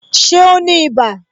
Ṣé o ní ibà